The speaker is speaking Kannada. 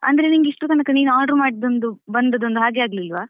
ಅಂದ್ರೆ ನಿಂಗೆ ಇಸ್ಟ್ರ ತನಕ ನೀನ್ order ಮಾಡಿದ್ದು ಒಂದು ಬಂದದ್ದು ಒಂದು ಹಾಗೆ ಆಗ್ಲಿಲ್ವಾ .